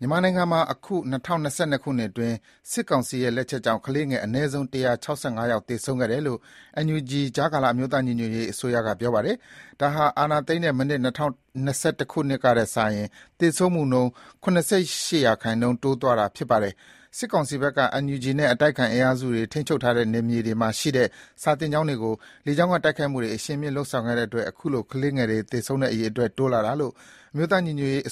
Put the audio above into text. မြန်မာနိုင်ငံမှာ ဒီနှစ် ၂၀၂၂ ခုနှစ်အတွင်း စစ်ကောင်စီရဲ့လက်ချက်ကြောင့် ကလေးငယ် အနည်းဆုံး ၁၆၅ ယောက် သေဆုံးခဲ့တယ်လို့ NUG ကြားကာလ အမျိုးသားညီညွတ်ရေး အစိုးရက ပြောပါတယ်။ ဒါဟာ အာဏာသိမ်းတဲ့ မနှစ် ၂၀၂၁ ခုနှစ်ကထက်စာရင် သေဆုံးမှုနှုန်း ၇၈% တက်သွားတာလို့ ပြောပါတယ်။ NUG နဲ့ အတိုက်အခံအင်အားစုတွေ ထိန်းချုပ်ထားတဲ့ နယ်မြေတွေမှာရှိတဲ့ စာသင်ကျောင်းတွေကို စစ်ကောင်စီ တပ်ဖွဲ့တွေက လေကြောင်းတိုက်ခိုက်မှု အရှိန်မြှင့်ခဲ့တဲ့အတွက် အခုလို ကလေးငယ်တွေ သေဆုံးတဲ့ အရေအတွက်တိုးလာတာလို့ NUG ရဲ့